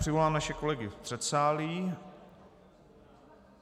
Přivolám naše kolegy v předsálí.